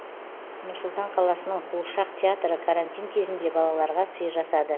нұр сұлтан қаласының қуыршақ театры карантин кезінде балаларға сый жасады